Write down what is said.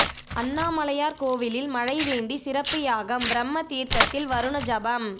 அண்ணாமலையார் கோயிலில் மழை வேண்டி சிறப்பு யாகம் பிரம்ம தீர்த்தத்தில் வருண ஜபம்